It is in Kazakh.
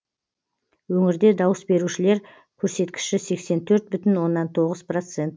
өңірде дауыс берушілер көрсеткіші сексен төрт бүтін оннан тоғыз процент